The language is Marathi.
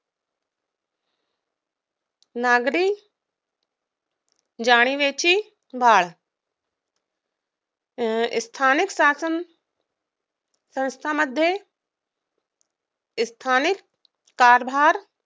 नागरी जाणिवेची वाढ स्थानिक शासन संस्थामध्ये स्थानिक कारभार